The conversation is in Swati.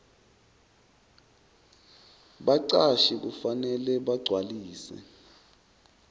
bacashi kufanele bagcwalise